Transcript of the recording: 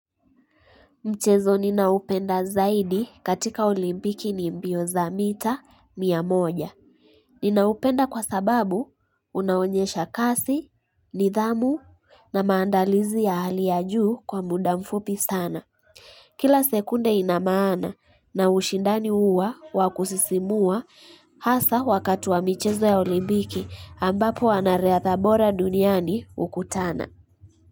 Mchezo ninaoupenda zaidi katika olimpiki ni mbio za mita mia moja. Ninaupenda kwa sababu unaonyesha kasi, nidhamu na maandalizi ya hali ya juu kwa muda mfupi sana. Kila sekunde ina maana na ushindani huwa wa kusisimua hasa wakatu wa mchezo ya olimpiki ambapo anariatha bora duniani ukutana.